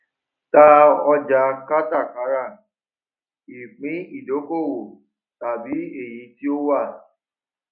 ta ọjà kátàkárà ìpín idokowo tabi eyi to wà